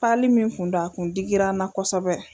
min kun don a kun digira n na kosɛbɛ.